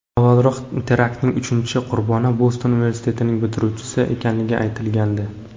Avvalroq teraktning uchinchi qurboni Boston universitetining bitiruvchisi ekanligi aytilgandi.